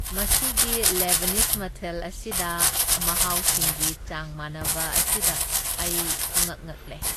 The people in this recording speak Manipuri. ꯃꯁꯤꯒꯤ ꯂꯦꯕꯅꯤꯁ ꯃꯊꯦꯜ ꯑꯁꯤꯗ ꯃꯍꯥꯎꯁꯤꯡꯒꯤ ꯆꯥꯡ ꯃꯥꯟꯅꯕ ꯑꯁꯤꯗ ꯑꯩ ꯄꯨꯉꯛ ꯉꯛꯂꯦ꯫